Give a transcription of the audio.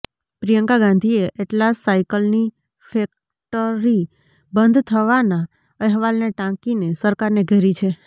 પ્રિયંકા ગાંધીએ એટલાસ સાયકલની ફેક્ટરી બંધ થવાના અહેવાલને ટાંકીને સરકારને ઘેરી છે